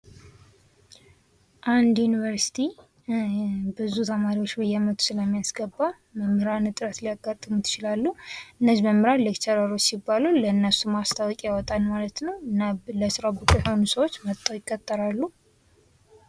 እንድ ዩንቨርስቲ በየአመቱ ብዙ ተማሪዎችን ስለሚቀበል መምህር ላያንስ ይችላል ።መምህር ለመቅጠር ማስታወቂያ ይወጣል። ለስራው ብቁ የሆኑ ሰዎች ይቀጠራሉ።